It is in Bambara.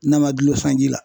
N'a ma dulon sanji la .